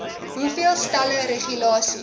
hoeveel stelle regulasies